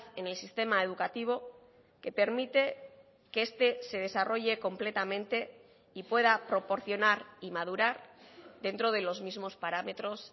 en el sistema educativo que permite que este se desarrolle completamente y pueda proporcionar y madurar dentro de los mismos parámetros